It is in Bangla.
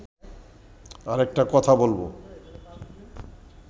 আরেকটা কথা বলব